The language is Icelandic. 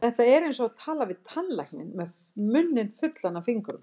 Þetta er eins og tala við tannlækninn með munninn fullan af fingrum.